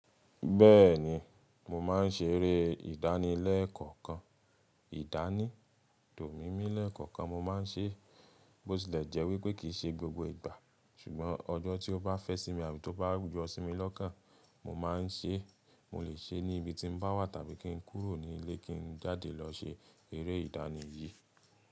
Bẹ́ẹ̀ni, mo máa ń ṣe eré ìdánilẹ́kọ̀ọ́ kan. Ìdánì tòmímílẹ́kọ̀ọ́kan mo máa ń ṣe e. Bó tilẹ̀ jẹ́ wípé kì í ṣe gbogbo ìgbà ṣùgbọ́n ọjọ́ tí ó bá fẹ́ sí mi àbí tó bá yọ sí mi lọ́kàn, mo máa ń ṣe. Mo lè ṣe é ní ibi tí n bá wà tàbí kí n kúrò nílé kí n jáde lọ ṣe eré ìdánì yìí.